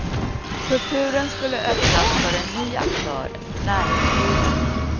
Kulturen skulle öppnas för en ny aktör, näringslivet.